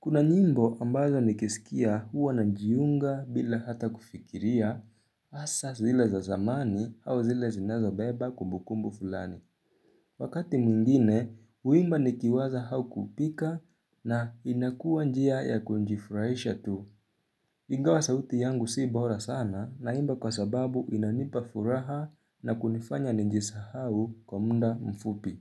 Kuna nyimbo ambazo nikisikia huwa najiunga bila hata kufikiria asa zile za zamani au zile zinazobeba kumbukumbu fulani. Wakati mwingine, huimba nikiwaza hau kupika na inakua njia ya kunjifurahisha tu. Ingawa sauti yangu si bora sana naimba kwa sababu inanipa furaha na kunifanya ninjisahau kwa munda mfupi.